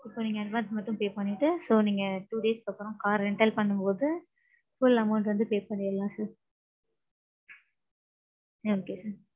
இப்போ நீங்க advance மட்டும் pay பன்னிட்டு. So நீங்க two days க்கு அப்பறோம் car rental பன்னும்போது full amount வந்து pay பண்ணியிர்லாம் sir. okay sir.